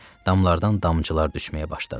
Damlardan damcılar düşməyə başladı.